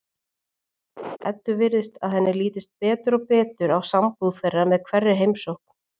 Eddu virðist að henni lítist betur og betur á sambúð þeirra með hverri heimsókn.